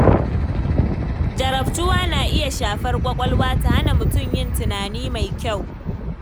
Jarabtuwa na iya shafar ƙwaƙwalwa, ta hana mutum yin tunani mai kyau.